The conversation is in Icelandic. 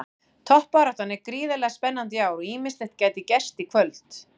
Toppbaráttan er gríðarlega spennandi í ár og ýmislegt gæti gerst í kvöld.